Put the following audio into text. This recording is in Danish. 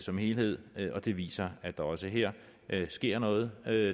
som helhed og det viser at der også her sker noget